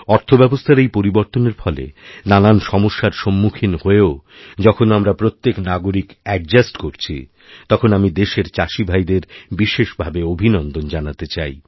অর্থব্যবস্থার এইপরিবর্তনের ফলে নানান সমস্যার সম্মুখীন হয়েও যখন আমরা প্রত্যেক নাগরিক অ্যাডজাস্টকরছি তখন আমি দেশের চাষিভাইদের বিশেষ ভাবে অভিনন্দন জানাতে চাই